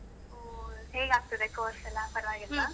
ಓಹ್ ಹೇಗಾಗ್ತದೆ course ಎಲ್ಲಾ ?